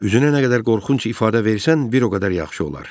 Üzünə nə qədər qorxunc ifadə versən, bir o qədər yaxşı olar.